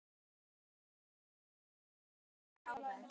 Konan kraup við hlið hans og mældi hann út.